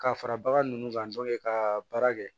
Ka fara bagan nunnu kan ka baara kɛ